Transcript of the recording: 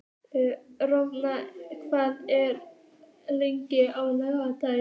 Rolf, hvað er opið lengi á laugardaginn?